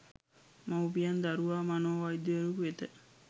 මවුපියන් දරුවා මනෝ වෛද්‍යවරයෙකු වෙත